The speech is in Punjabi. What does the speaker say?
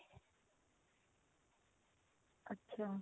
ਅੱਛਾ